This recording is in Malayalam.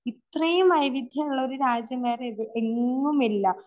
ഇത്രയും വൈവിധ്യമുള്ള ഒരു രാജ്യം വേറെവിടെയെങ്ങുമില്ല.